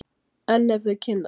En ef þau kynnast!